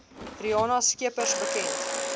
riana scheepers bekend